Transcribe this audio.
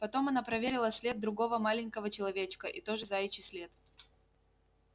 потом она проверила след другого маленького человечка и тоже заячий след